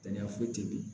Kɛnɛya foyi tɛ ye